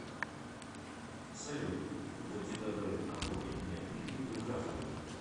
салют будьте добры оформить мне кредитную карту